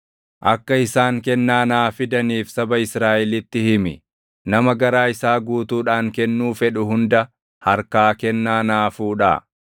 “Akka isaan kennaa naa fidaniif saba Israaʼelitti himi. Nama garaa isaa guutuudhaan kennuu fedhu hunda harkaa kennaa naa fuudhaa.